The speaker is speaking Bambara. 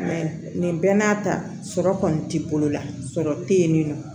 nin bɛɛ n'a ta sɔrɔ kɔni ti bolola sɔrɔ te yen nin non